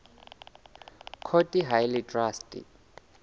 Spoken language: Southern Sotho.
court ha e le traste